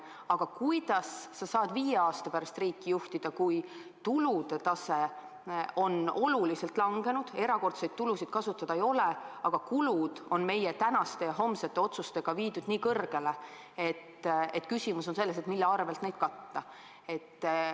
Aga kuidas sa saad viie aasta pärast riiki juhtida, kui tulude tase on oluliselt langenud, erakordseid tulusid kasutada ei ole, aga kulud on meie tänaste ja homsete otsustega viidud nii kõrgele, et küsimus on selles, mille arvel neid katta?